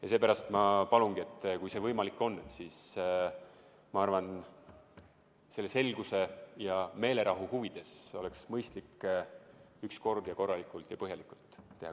Ja seepärast ma palungi, et kui see võimalik on, siis selguse ja meelerahu huvides oleks mõistlik üks kord ja korralikult ja põhjalikult teha.